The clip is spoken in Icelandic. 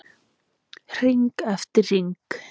Hring eftir hring.